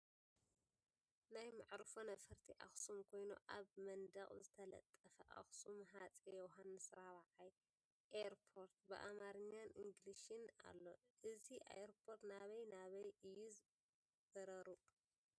ናይ መዕርፎ ነፈርቲ ኣክሱም ኮይኑ ኣብ መንደቅ ዝተለጠፈ ኣክሱም ኣፄ ዮሓንስ ራብዓይ ኤርፖርት ብኣማርኛን እንግሊዝን ኣሎ ። እዚ ኤርፖርት ናይ ናበይ እዩ በረርኡ ?